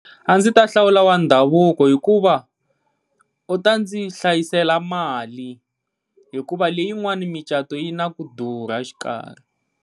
A ndzi ta hlawula wa ndhavuko, hikuva u ta ndzi hlayisela mali hikuva leyin'wani micato yi na ku durha a xikarhi.